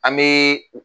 An bɛ